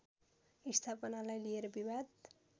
स्थापनालाई लिएर विवाद